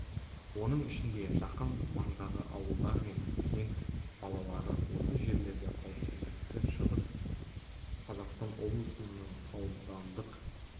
оның ішінде жақын маңдағы ауылдар мен кент балалары осы жерлерде қауіпсіздікті шығыс қазақстан облысының аудандық